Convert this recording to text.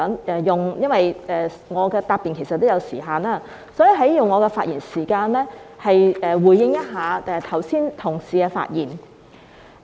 因為我的答辯也有時限，所以我想用我的發言時間回應剛才同事的發言。